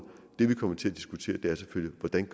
det vi kommer til at diskutere er selvfølgelig hvordan